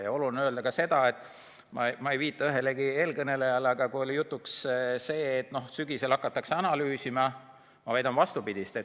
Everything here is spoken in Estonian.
Ja oluline on öelda ka seda – ma ei viita ühelegi eelkõnelejale –, et kui oli jutuks see, et sügisel hakatakse analüüsima, siis ma väidan vastupidist.